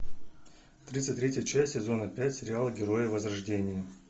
тридцать третья часть сезона пять сериала герои возрождения